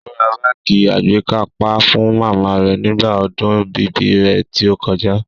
Ó ra báàgì àgbékápá fún màmá rẹ̀ nígbà ọdún ibí rẹ̀ tí ó kọjá